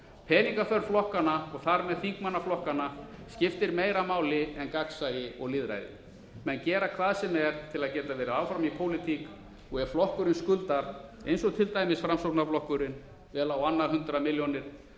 peningaþörf flokkanna og þar með þingmanna flokkanna skiptir meira máli en gagnsæi og lýðræði menn gera hvað sem er til að geta verið áhrif í pólitík á ef flokkurinn skuldar eins og til dæmis framsóknarflokkurinn vel á annað hundrað milljónir